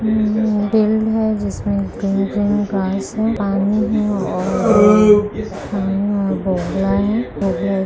जिसमें green green grass है पानी है और बोगला है फिर --